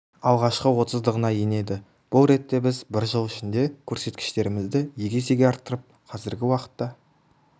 алғашқы отыздығына енеді бұл ретте біз бір жыл ішінде көрсеткіштерімізді екі есеге арттырып қазіргі уақытта